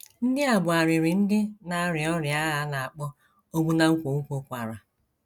NDỊ a bụ arịrị ndị na - arịa ọrịa a a na - akpọ ogbu na nkwonkwo kwara.